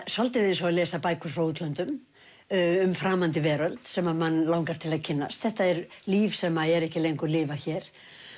svolítið eins og að lesa bækur frá útlöndum um framandi veröld sem mann langar til að kynnast þetta er líf sem er ekki lengur lifað hér